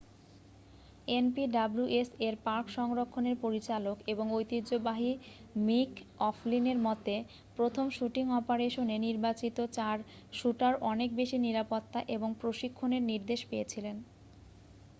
npws-এর park সংরক্ষণের পরিচালক ও ঐতিহ্যবাহী মিক ওফ্লিনের মতে প্রথম শুটিং অপারেশনে নির্বাচিত চার শ্যুটার অনেক বেশি নিরাপত্তা এবং প্রশিক্ষণের নির্দেশ পেয়েছিলেন।